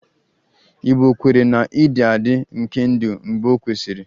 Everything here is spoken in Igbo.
Igbo kweere na-ịdị adị nke ndụ mgbe ọ nwụsịrị